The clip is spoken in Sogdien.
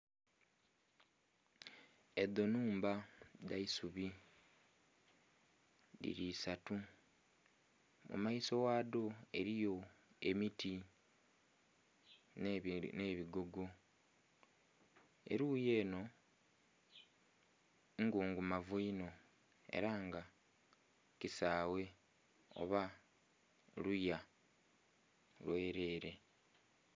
Edho nhumba dhaisubi dhili isaatu, mu maiso ghadho eriyo emiti nhe bigogo eruyi enho ngungumavu inho era nga kisaghe oba luya lwerere.